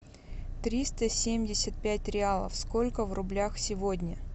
триста семьдесят пять реалов сколько в рублях сегодня